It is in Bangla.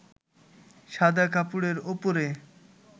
সাদা কাপড়ের উপরে